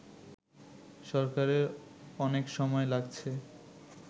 সরকারের অনেক সময় লাগছে